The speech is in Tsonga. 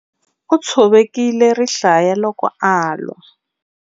U tshovekile rihlaya loko a lwa.